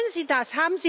Wollen Sie das?